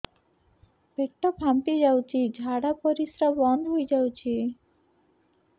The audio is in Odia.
ପେଟ ଫାମ୍ପି ଯାଇଛି ଝାଡ଼ା ପରିସ୍ରା ବନ୍ଦ ହେଇଯାଇଛି